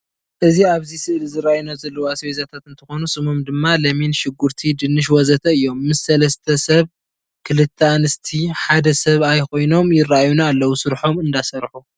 እዚ ኣብዚ ስእሊ ዝረአዩና ዘለው ኣስቤዛታት እንትኾኑ ስሞም ድማ ለሚን፣ ሽጉርቲ፣ ድንሸ ወዘተእዮም። ምስ ሰለስተ ሰብ ክልተ አንስቲ ሓደ ሰብኣይኾይኖም ይረአዩና አለው ሰርሖም እነዳሰርሑ።